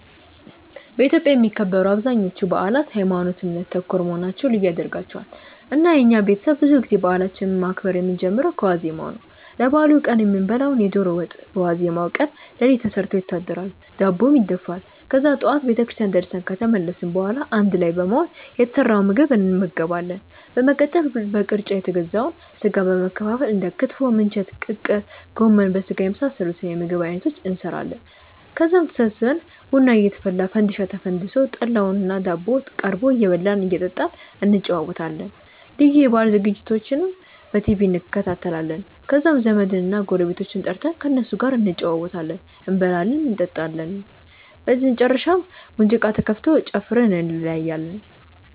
በኢትዮጵያ የሚከበሩ አብዛኞቹ በአላት ሀይማኖት ( እምነት) ተኮር መሆናቸው ልዩ ያደርጋቸዋል። እና የኛ ቤተሰብ ብዙ ጊዜ በአላችንን ማክበር የምንጀምረው ከዋዜማው ነው። ለበአሉ ቀን የምንበላውን የዶሮ ወጥ በዋዜማው ቀን ሌሊት ተሰርቶ ይታደራል፤ ዳቦም ይደፋል። ከዛ ጠዋት ቤተክርስቲያን ደርሰን ከተመለስን በኋላ አንድ ላይ በመሆን የተሰራውን ምግብ እንመገባለን። በመቀጠል በቅርጫ የተገዛውን ስጋ በመከፋፈል እንደ ክትፎ፣ ምንቸት፣ ቅቅል፣ ጎመን በስጋና የመሳሰሉት የምግብ አይነቶችን እንሰራለን። ከዛም ተሰብስበን ቡና እየተፈላ፣ ፈንዲሻ ተፈንድሶ፣ ጠላውና ዳቦው ቀርቦ እየበላን እና እየጠጣን እንጨዋወታለን። ልዩ የበአል ዝግጅቶችንም በቲቪ እንከታተላለን። ከዛም ዘመድና ጎረቤቶቻችንን ጠርተን ከእነሱም ጋር እንጨዋወታለን፤ እንበላለን እንጠጣለን። በመጨረሻም ሙዚቃ ተከፍቶ ጨፍረን እንለያያለን።